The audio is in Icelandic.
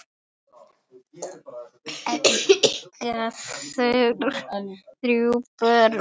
Eiga þau þrjú börn.